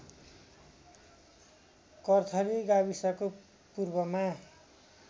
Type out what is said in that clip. कर्थली गाविसको पूर्वमा